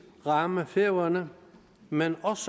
ramme færøerne men også